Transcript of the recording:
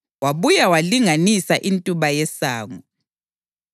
Wabuya walinganisa intuba yesango;